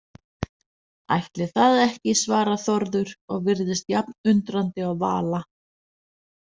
Ætli það ekki, svarar Þórður og virðist jafn undrandi og Vala.